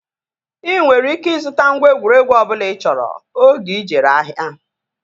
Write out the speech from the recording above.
Ị nwere ike ịzụta ngwa egwuregwu ọbụla ị chọrọ oge ị jere ahịa